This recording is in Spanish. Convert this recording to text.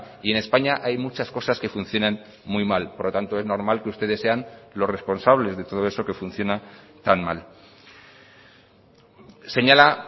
y en españa hay muchas cosas que funcionan muy mal por lo tanto es normal que ustedes sean los responsables de todo eso que funciona tan mal señala